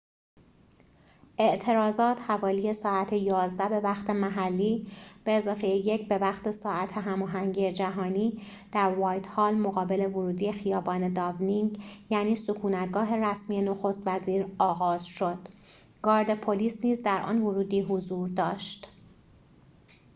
اعتراضات حوالی ساعت 11:00 به‌وقت محلی 1+ به‌وقت ساعت هماهنگ جهانی در «وایت‌هال»، مقابل ورودی خیابان «داونینگ»، یعنی سکونت‌گاه رسمی نخست‌وزیر، آغاز شد. گارد پلیس نیز در آن ورودی حضور داشت